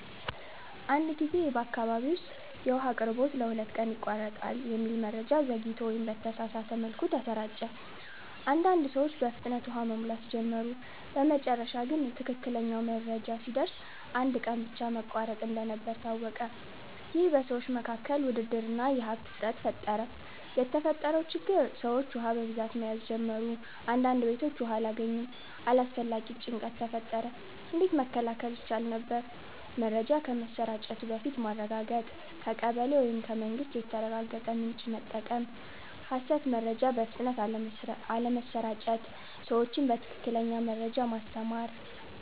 አንድ ጊዜ በአካባቢ ውስጥ “የውሃ አቅርቦት ለሁለት ቀን ይቋረጣል” የሚል መረጃ ዘግይቶ ወይም በተሳሳተ መልኩ ተሰራጨ። አንዳንድ ሰዎች በፍጥነት ውሃ መሙላት ጀመሩ በመጨረሻ ግን ትክክለኛው መረጃ ሲደርስ አንድ ቀን ብቻ መቋረጥ እንደነበር ታወቀ ይህ በሰዎች መካከል ውድድር እና የሀብት እጥረት ፈጠረ የተፈጠረው ችግር ሰዎች ውሃ በብዛት መያዝ ጀመሩ አንዳንድ ቤቶች ውሃ አላገኙም አላስፈላጊ ጭንቀት ተፈጠረ እንዴት መከላከል ይቻል ነበር? መረጃ ከመሰራጨቱ በፊት ማረጋገጥ ከቀበሌ ወይም ከመንግስት የተረጋገጠ ምንጭ መጠቀም ሐሰት መረጃ በፍጥነት አለመስራጨት ሰዎችን በትክክለኛ መረጃ ማስተማር